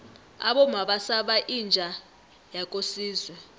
abomma basaba inja yakosizwe